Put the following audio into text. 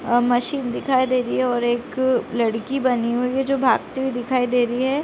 अअ machine दिखाई दे रही है और एक लड़की बनी हुई है जो भागती हुई दिखाई दे रही है।